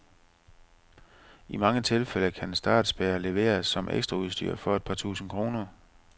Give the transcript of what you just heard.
I mange tilfælde kan startspærre leveres som ekstraudstyr for et par tusinde kroner.